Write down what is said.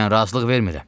Mən razılıq vermirəm.